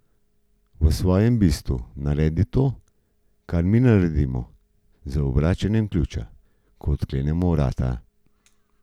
V svojem bistvu naredi to, kar mi naredimo z obračanjem ključa, ko odklepamo vrata.